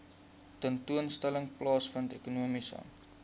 tentoonstelling plaasvind ekonomiese